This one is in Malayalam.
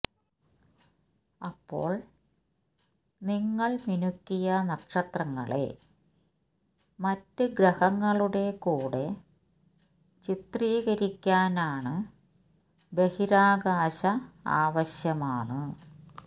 അപ്പോൾ നിങ്ങൾ മിനുക്കിയ നക്ഷത്രങ്ങളെ മറ്റ് ഗ്രഹങ്ങളുടെ കൂടെ ചിത്രീകരിക്കാനാണ് ബഹിരാകാശ ആവശ്യമാണ്